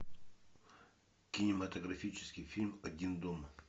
кинематографический фильм один дома